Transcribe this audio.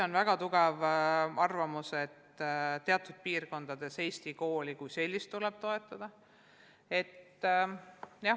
On väga tugev arvamus, et teatud piirkondades tuleb eesti kooli kui sellist toetada.